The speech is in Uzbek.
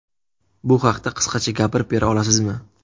Bu haqda qisqacha gapirib bera olasizmi?